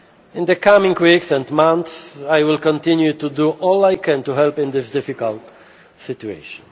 stage. In the coming weeks and months, I will continue to do all I can to help in this difficult